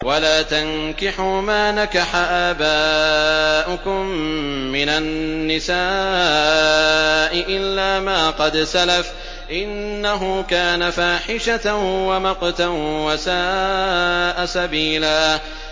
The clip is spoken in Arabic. وَلَا تَنكِحُوا مَا نَكَحَ آبَاؤُكُم مِّنَ النِّسَاءِ إِلَّا مَا قَدْ سَلَفَ ۚ إِنَّهُ كَانَ فَاحِشَةً وَمَقْتًا وَسَاءَ سَبِيلًا